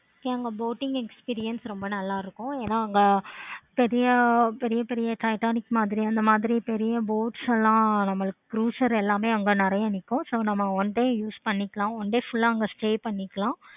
அங்க boating experience ரொம்ப நல்ல இருக்கும். ரொம்ப ஏன அங்க பெரிய பெரிய titanic அந்த மாதிரி பெரிய boats எல்லா நமக்கு அங்க நெறைய இருக்கும். one day use பண்ணிக்கலாம். one day full ஆஹ் அங்க stay பண்ணிக்கலாம்.